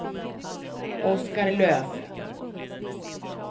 Oskar Löf